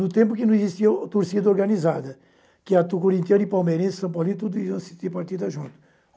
No tempo em que não existia a torcida organizada, que é a tu corintiano e Palmeirense, São Paulo e tudo isso, eu assistia partida junto.